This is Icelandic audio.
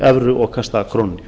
evru og kasta krónunni